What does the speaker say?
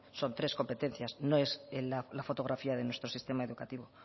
son tres competencias no es la fotografía de nuestro sistema educativo